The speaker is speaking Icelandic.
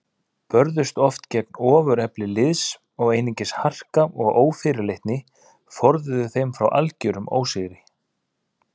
Börðust oft gegn ofurefli liðs og einungis harka og ófyrirleitni forðuðu þeim frá algerum ósigri.